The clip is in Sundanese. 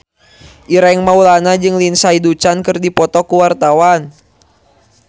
Ireng Maulana jeung Lindsay Ducan keur dipoto ku wartawan